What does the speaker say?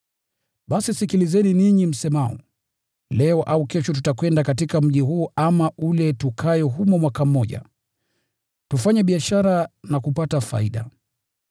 Basi sikilizeni ninyi msemao, “Leo au kesho tutakwenda katika mji huu ama ule tukae humo mwaka mmoja, tufanye biashara na kupata faida.”